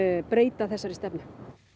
breyta þessari stefnu